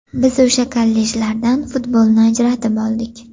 Biz o‘sha kollejlardan futbolni ajratib oldik.